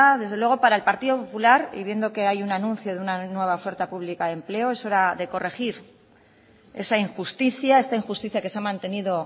desde luego para el partido popular y viendo que hay un anuncio de una nueva oferta pública de empleo es hora de corregir esa injusticia esta injusticia que se ha mantenido